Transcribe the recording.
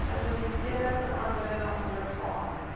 fundamentele veranderinge ondergaan